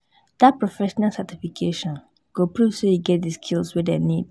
Dat professional certification go prove sey you get di skills wey dem need.